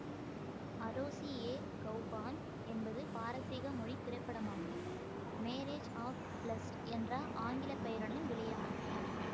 அரோசி ஏ கெளபான் என்பது பாரசீக மொழி திரைப்படமாகும் மேரேஜ் ஆஃப் பிலஸ்டு என்ற ஆங்கில பெயருடன் வெளியானது